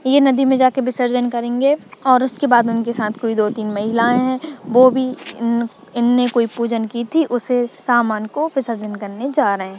ये नदी में जा कर विसर्जन करेगे और उसके बाद उनके साथ दो तीन महिला है वो भी इने कोई पूजन की थी उन समान को विसर्जन जा रहे है।